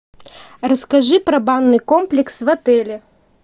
расскажи про банный комплекс в отеле